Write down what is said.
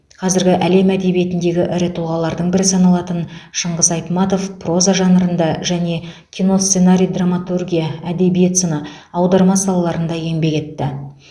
қазіргі әлем әдебиетіндегі ірі тұлғалардың бірі саналатын шыңғыс айтматов проза жанрында және киносценарий драматургия әдебиет сыны аударма салаларында еңбек етті